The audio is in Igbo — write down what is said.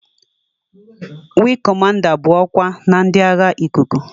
Weegi Cọmanda bụ ọkwa na ndị agha ikuku.